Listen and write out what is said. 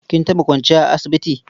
Kin taɓa kwanciya a asibiti?